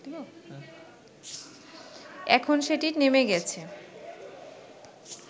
এখন সেটি নেমে গেছে